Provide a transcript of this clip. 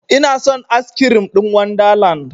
Inason askirim ɗin wanda land